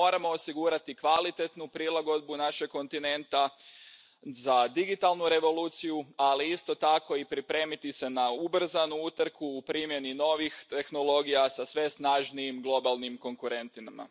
Moramo osigurati kvalitetnu prilagodbu našeg kontinenta za digitalnu revoluciju, ali isto tako i pripremiti se na ubrzanu utrku u primjeni novih tehnologija sa sve snažnijim globalnim konkurentima.